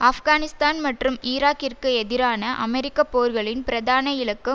ஆப்கானிஸ்தான் மற்றும் ஈராக்கிற்கு எதிரான அமெரிக்க போர்களின் பிரதான இலக்கு